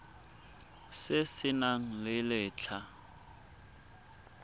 se se nang le letlha